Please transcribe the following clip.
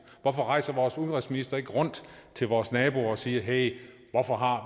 hvorfor rejser vores udenrigsminister ikke rundt til vores naboer og siger hey